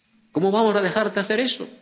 ¿Cómo vamos a dejar de hacer eso?